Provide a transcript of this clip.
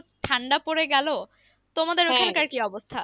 ঠান্ডা পরে গেলো। তোমাদের কি অবস্থা?